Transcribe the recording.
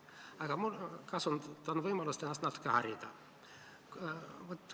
Aga ma kasutan võimalust ennast natuke harida.